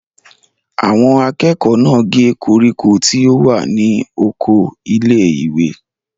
Àwọn akẹ́kọ̀ọ́ náà gé koríko tí ó wà ní oko ilé-ìwé?